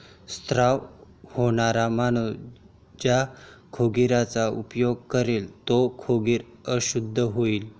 स्त्राव होणारा माणूस ज्या खोगीराचा उपयोग करील ते खोगीर अशुद्ध होय.